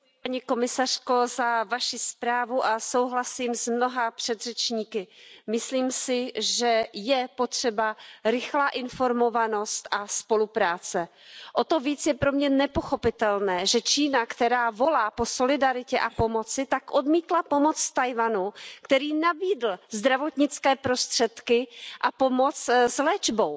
Paní předsedající, paní komisařko, děkuji za Vaši zprávu a souhlasím s mnoha předřečníky. Myslím si, že je potřeba rychlá informovanost a spolupráce. O to více je pro mě nepochopitelné, že Čína, která volá po solidaritě a pomoci, tak odmítla pomoc Tchaj wanu, který nabídl zdravotnické prostředky a pomoc s léčbou.